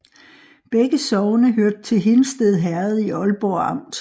Begge sogne hørte til Hindsted Herred i Ålborg Amt